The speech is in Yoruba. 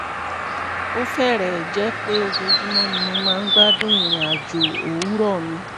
ó fẹ́rẹ̀ẹ́ jẹ́ pé ojoojúmọ́ ni mo máa ń gbádùn ìrìn àjò òwúrọ̀ mi